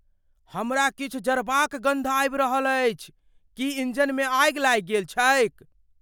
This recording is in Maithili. हमरा किछु जरबाक गन्ध आबि रहल अछि। की इंजनमे आगि लागि गेल छैक ?